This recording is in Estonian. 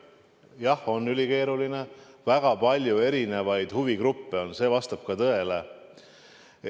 Jah, on ülikeeruline, väga palju erinevaid huvigruppe on, see vastab tõele.